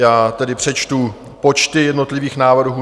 Já tedy přečtu počty jednotlivých návrhů.